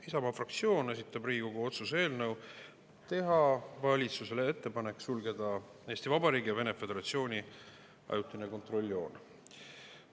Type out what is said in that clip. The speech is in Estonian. Isamaa fraktsioon esitab Riigikogu otsuse eelnõu, et teha valitsusele ettepanek sulgeda Eesti Vabariigi ja Vene Föderatsiooni ajutine kontrolljoon.